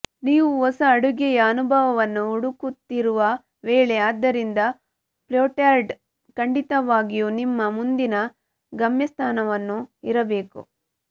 ನೀವು ಹೊಸ ಅಡುಗೆಯ ಅನುಭವವನ್ನು ಹುಡುಕುತ್ತಿರುವ ವೇಳೆ ಆದ್ದರಿಂದ ಪೋರ್ಟ್ಲ್ಯಾಂಡ್ ಖಂಡಿತವಾಗಿಯೂ ನಿಮ್ಮ ಮುಂದಿನ ಗಮ್ಯಸ್ಥಾನವನ್ನು ಇರಬೇಕು